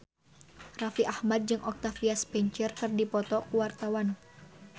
Raffi Ahmad jeung Octavia Spencer keur dipoto ku wartawan